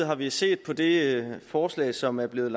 har vi set på det forslag som er blevet